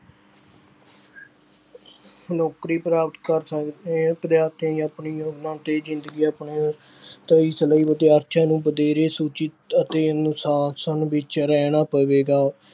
ਨੌਕਰੀ ਪ੍ਰਾਪਤ ਕਰ ਸਕਦੇ ਹੈ, ਵਿਦਿਆਰਥੀਆਂ ਨੇ ਆਪਣੀ ਯੋਜਨਾ ਤੇ ਜ਼ਿੰਦਗੀ ਆਪਣੇ ਤਾਂ ਇਸ ਲਈ ਵਿਦਿਆਰਥੀਆਂ ਨੂੰ ਵਧੇਰੇ ਸੂਚਿਤ ਅਤੇ ਅਨੁਸ਼ਾਸ਼ਨ ਵਿੱਚ ਰਹਿਣਾ ਪਵੇਗਾ।